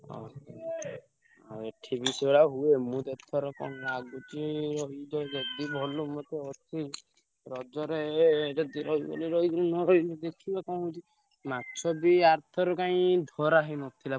ଓହୋ, ଆଉ ଏଠି ବି ସେଇଭଳିଆ ହୁଏ। ମୁଁ ତ ଏଥର କଣ ଲାଗୁଛି ଯଦି ଗଲୁ ମତେ ଏଠି ରଜରେ ଏ ଯଦି ରହିବେନି ରହିବେନି ନ ରହିବି ଦେଖିବା କଣ ହଉଛି। ମାଛ ବି ଆର ଥର କାଇଁ ଧରା ହେଇନଥିଲା।